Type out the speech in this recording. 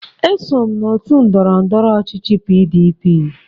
Eso m n'òtù ndọrọ ndọrọ ọchịchị PDP.